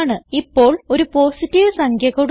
ഇപ്പോൾ ഒരു പോസിറ്റീവ് സംഖ്യ കൊടുക്കാം